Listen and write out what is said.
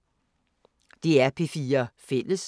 DR P4 Fælles